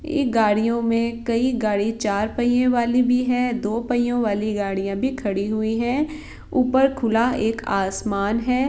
ये गाड़ियों मे कई गाड़ी चार पईयों वाली भी है दो पईयों वाली गड़िया भी खड़ी हुई है ऊपर खुला एक आसमान है ।